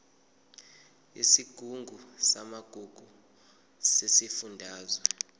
yesigungu samagugu sesifundazwe